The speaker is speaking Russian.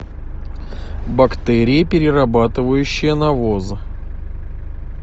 бактерии перерабатывающие навоз